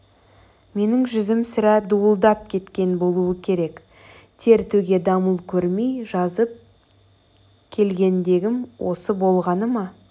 менің жүзім сірә дуылдап кеткен болуы керек тер төге дамыл көрмей жазып келгендегім осы болғаны ма